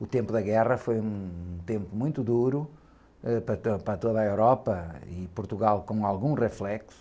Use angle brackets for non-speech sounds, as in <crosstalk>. O tempo da guerra foi um, um tempo muito duro, ãh, para, <unintelligible> para toda a Europa e Portugal com algum reflexo.